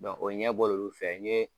o ɲɛbɔ l'olu fɛ n ye